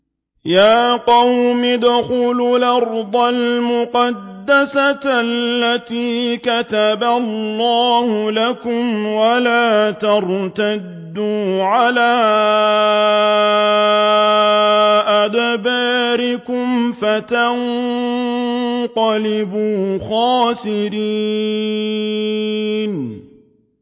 يَا قَوْمِ ادْخُلُوا الْأَرْضَ الْمُقَدَّسَةَ الَّتِي كَتَبَ اللَّهُ لَكُمْ وَلَا تَرْتَدُّوا عَلَىٰ أَدْبَارِكُمْ فَتَنقَلِبُوا خَاسِرِينَ